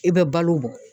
I bɛ balo bɔ